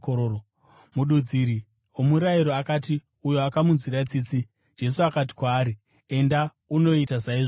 Mududziri womurayiro akati, “Uyo akamunzwira tsitsi.” Jesu akati kwaari, “Enda unoita saizvozvo.”